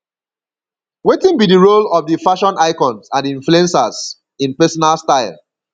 wetin be di role of di fashion icons and influencers in personal style